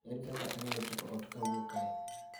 Ere kaka anyalo chopo ot ka awuok kae